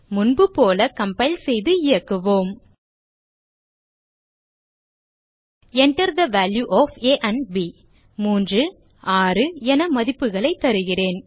முன்புபோல கம்பைல் செய்து இயக்குவோம் Enter the value of a and b 3 மற்றும் 6 என மதிப்புகளைத் தருகிறேன்